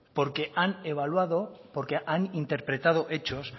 porque han evaluado porque han interpretado hechos